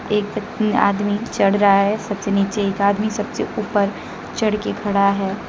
एक आदमी चढ़ रहा है सबसे नीचे एक आदमी सबसे ऊपर चढ़ के खड़ा है।